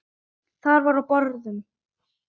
Þar var á borðum